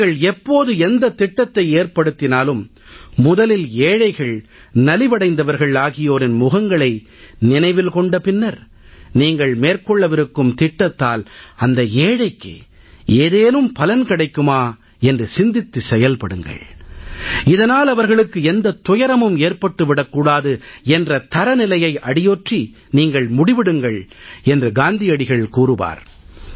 நீங்கள் எப்போது எந்தத் திட்டத்தை ஏற்படுத்தினாலும் முதலில் ஏழைகள் நலிவடைந்தவர்கள் ஆகியோரின் முகங்களை நினைவில் கொண்ட பின்னர் நீங்கள் மேற்கொள்ளவிருக்கும் திட்டத்தால் அந்த ஏழைக்கு ஏதேனும் பலன் கிடைக்குமா என்று சிந்தித்து செயல்படுங்கள் இதனால் அவர்களுக்கு எந்தத் துயரமும் ஏற்பட்டு விடக் கூடாது என்ற தரநிலையை அடியொற்றி நீங்கள் முடிவெடுங்கள் என்று காந்தியடிகள் கூறுவார்